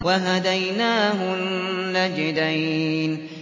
وَهَدَيْنَاهُ النَّجْدَيْنِ